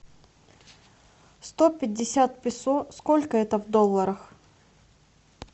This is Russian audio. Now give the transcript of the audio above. сто пятьдесят песо сколько это в долларах